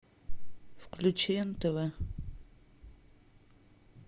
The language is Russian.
включи нтв